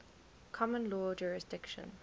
common law jurisdiction